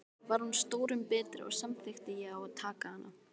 Var hún stórum betri, og samþykkti ég að taka hana.